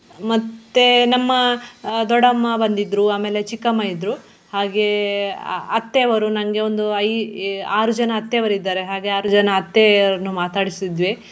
ಮತ್ತೆ ನಮ್ಮ ಆಹ್ ದೊಡ್ಡಮ್ಮ ಬಂದಿದ್ರು ಆಮೇಲೆ ಚಿಕ್ಕಮ್ಮಇದ್ರು ಹಾಗೆ ಅ~ ಅತ್ತೆ ಅವರು ನಂಗೆ ಒಂದು ಐ~ ಆರು ಜನ ಅತ್ತೆಯವರು ಇದ್ದಾರೆ ಹಾಗೆ ಆರು ಜನ ಅತ್ತೆಯವರನ್ನು ಮಾತಾಡಿಸಿದ್ವಿ.